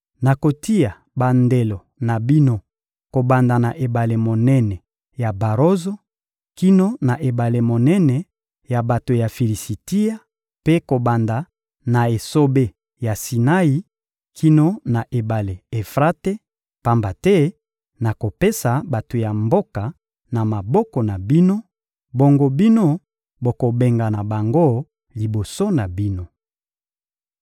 Nakotia bandelo na bino kobanda na ebale monene ya barozo kino na ebale monene ya bato ya Filisitia mpe kobanda na esobe ya Sinai kino na ebale Efrate; pamba te nakopesa bato ya mboka na maboko na bino, bongo bino bokobengana bango liboso na bino.